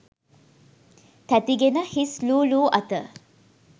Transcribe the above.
තැති ගෙන හිස් ලූ ලූ අත